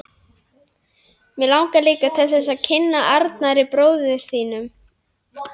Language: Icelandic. Mig langar líka til þess að kynnast Arnari, bróður þínum.